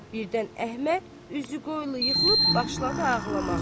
Birdən Əhməd üzü qoylu yıxılıb başladı ağlamağa.